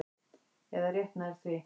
Eða rétt nær því.